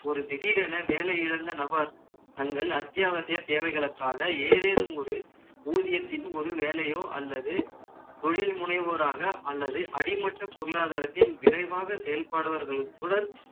ஒரு திடீரென வேலை இழந்த நபர்கள் தங்கள் அத்தியாவசிய தேவைகளுக்காக, ஏதேனும் ஒரு ஊதியத்தில் ஒரு வேலையோ அல்லது தொழில் முனைவோராக, அல்லது அடிமட்ட பொருளாதாரத்தின், விரைவாக செயல்படுபவர்களுடன்